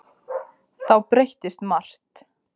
Þá breyttist margt.